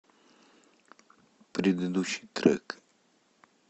предыдущий трек